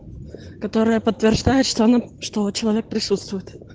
которая подтверждает что она что человек присутствует